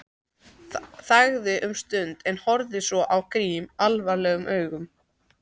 Þagði um stund en horfði svo á Grím alvarlegum augum.